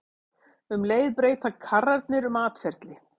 Um leið breyta karrarnir um atferli.